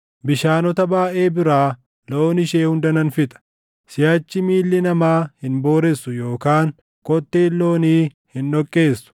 Bishaanota baayʼee biraa loon ishee hunda nan fixa; siʼachi miilli namaa hin booressu yookaan kotteen loonii hin dhoqqeessu.